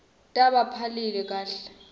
tbanta baphile kahle